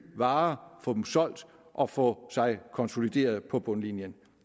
varer få dem solgt og få sig konsolideret på bundlinjen